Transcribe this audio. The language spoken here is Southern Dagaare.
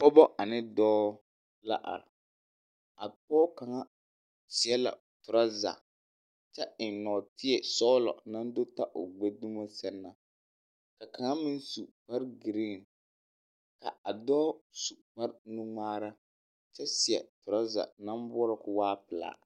Pɔgebɔ ane dɔɔ la are. A pɔg kaŋa seɛ la o torɔza kyɛ eŋ nɔɔteɛsɔglɔ naŋ do ta o dumo sɛŋ na. Ka kaŋa meŋ su kparegiriiŋ. Ka a dɔɔ su kparenuŋmaara, kyɛ seɛ torɔza naŋ boɔrɔ ko waa pelaa.